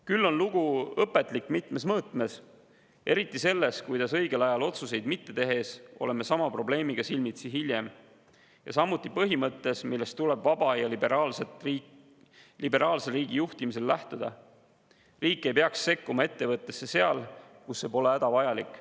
Küll aga on lugu õpetlik mitmes mõõtmes, eriti selles, kuidas õigel ajal otsuseid mitte tehes oleme sama probleemiga silmitsi hiljem, ja samuti põhimõttes, millest tuleb vaba ja liberaalse riigi juhtimisel lähtuda, et riik ei peaks sekkuma ettevõttesse, kui see pole hädavajalik.